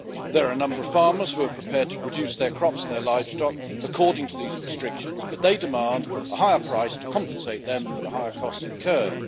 There are a number of farmers who are prepared to produce their crops and their livestock according to these restrictions, but they demand a higher price to compensate them for the higher costs incurred.